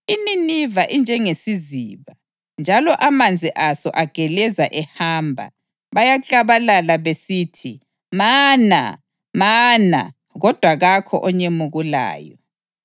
INiniva injengesiziba, njalo amanzi aso ageleza ehamba. Bayaklabalala besithi, “Mana! Mana!” Kodwa kakho onyemukulayo.